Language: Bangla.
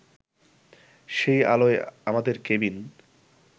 সেই আলোয় আমাদের কেবিন